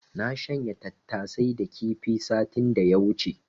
Na shanya tattasai da kifi satin da ya wuce.